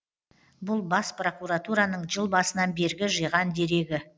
бұл бас прокуратураның жыл басынан бергі жиған дерегі